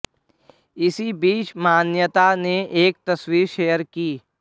इसी बीच मान्यता ने एक तस्वीर शेयर की